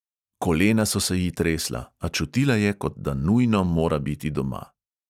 Kolena so se ji tresla, a čutila je, kot da nujno mora biti doma.